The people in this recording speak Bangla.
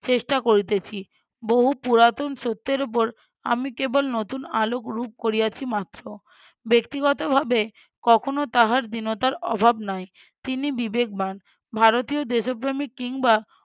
চেষ্টা করিতেছি। বহু পুরাতন সত্যের উপর আমি কেবল নতুন আলোক রূপ করিয়াছি মাত্র। ব্যক্তিগত ভাবে কখনও তাহার দীনতার অভাব নাই তিনি বিবেকবান, ভারতীয় দেশপ্রেমিক কিংবা